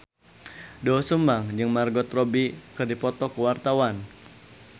Doel Sumbang jeung Margot Robbie keur dipoto ku wartawan